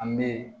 An bɛ